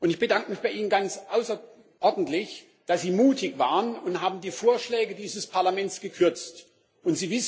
Ich bedanke mich bei Ihnen ganz außerordentlich, dass Sie mutig waren und die Vorschläge dieses Parlaments gekürzt haben.